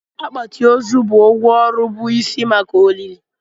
Akpati ozu bụ ngwá ọrụ bụ isi maka olili.